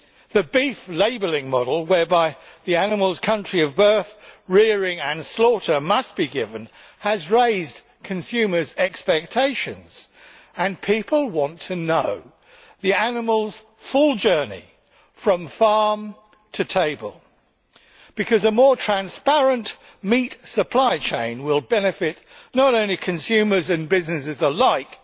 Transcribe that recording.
The beef labelling model, whereby the animal's country of birth, rearing and slaughter must be given, has raised consumers' expectations, and people want to know the animal's full journey from farm to table, because a more transparent meat supply chain will benefit not only consumers and businesses alike